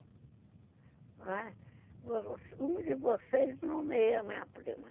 Um de vocês nomeia a minha prima.